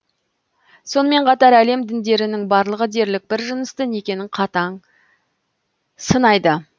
сонымен қатар әлем діндерінің барлығы дерлік бір жыныстық некенің қатаң сынайды